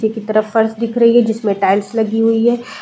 की तरफ फर्श दिख रही है जिसमें टाइल्स लगी हुई हैं।